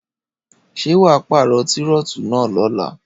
Ṣé wà paarọ tírótù náà lóla